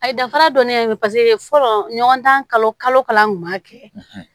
A ye danfara dɔnniya ye paseke fɔlɔ ɲɔgɔndan kalo kalo